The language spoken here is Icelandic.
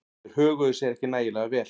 Þeir höguðu sér ekki nægilega vel.